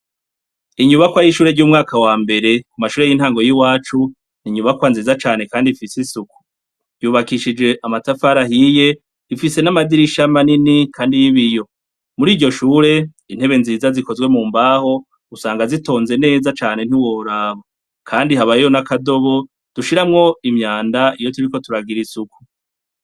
Inyubakwa y'ishure ry'umwaka wa mbere, ku mashure y'intango y'iwacu, ni inyubakwa nziza cane kandi ifise isuku; yubakishije amatafari ahiye, ifise n'amadirisha manini kandi y'ibiyo. Muri iryo shure, intebe nziza zikozwe mu mbaho, usanga zitonze neza cane ntiworaba. Kandi habayo n'akadobo, dushiramwo imyanda iyo turiko turagira isuku.